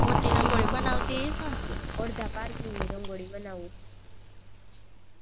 અડધા parking ની રંગોળી બનાવું